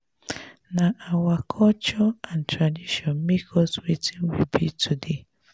nah our culture and tradition make us wetin we be today.